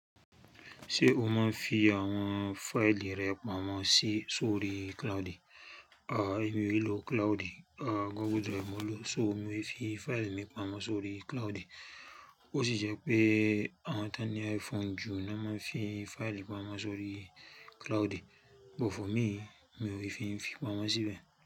Ṣé o máa ń fi àwọn fáìlì rẹ pamọ́ sí sórí cloud? A, èmi ò i ló cloud. A, google drive mo n lo. So, mi i fi fáìlì mi pamọ́ sórí cloud. Ó sì jẹ́ pé àwọn tán ní iPhone jù ni a máa ń fi fáìlì pamọ́ sórí cloud. But for me, mi ò rí fin fi pamọ́ síbẹ̀.